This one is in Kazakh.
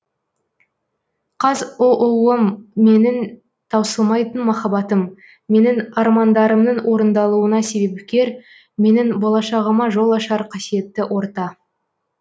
қазұу ым менің таусылмайтын махаббатым менің армандарымның орындалуына себепкер менің болашағыма жол ашар қасиетті орта